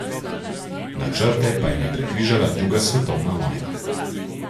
Načrte pa jim je prekrižala druga svetovna vojna.